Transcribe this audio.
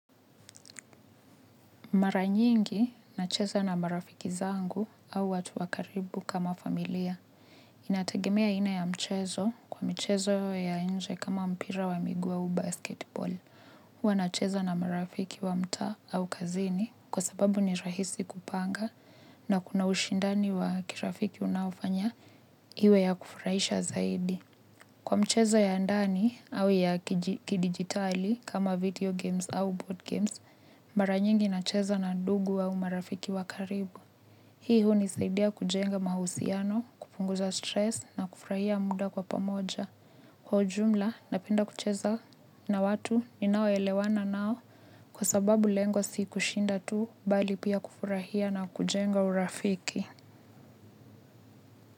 Mara nyingi nacheza na marafiki zangu au watu wa karibu kama familia. Inategemea aina ya mchezo, kwa michezo ya inje kama mpira wa miguu au basketball. Huwa nacheza na marafiki wa mtaa au kazini kwa sababu ni rahisi kupanga na kuna ushindani wa kirafiki unaofanya iwe ya kufurahisha zaidi. Kwa mchezo ya ndani au ya kidigitali kama video games au board games, mara nyingi nacheza na ndugu au marafiki wakaribu. Hii hunisaidia kujenga mahusiano, kupunguza stress na kufurahia muda kwa pamoja. Kwa ujumla, napenda kucheza na watu ni nao elewana nao kwa sababu lengo si kushinda tu bali pia kufurahia na kujenga urafiki.